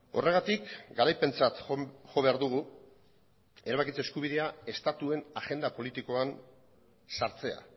horregatik garaipentzat jo behar dugu erabakitze eskubidea estatuen agenda politikoan sartzea